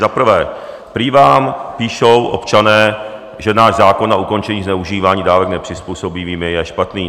Za prvé, prý vám píšou občané, že náš zákon na ukončení zneužívání dávek nepřizpůsobivými je špatný.